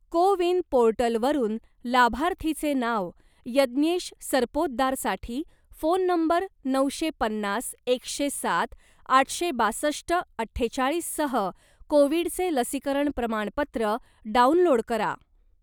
को विन पोर्टलवरून लाभार्थीचे नाव यज्ञेश सरपोतदार साठी फोन नंबर नऊशे पन्नास एकशे सात आठशे बासष्ट अठ्ठेचाळीस सह कोविडचे लसीकरण प्रमाणपत्र डाउनलोड करा.